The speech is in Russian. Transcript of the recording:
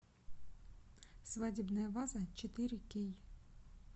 свадебная ваза четыре кей